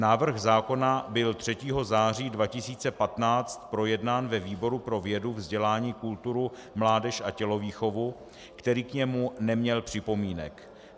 Návrh zákona byl 3. září 2015 projednán ve výboru pro vědu, vzdělání, kulturu, mládež a tělovýchovu, který k němu neměl připomínek.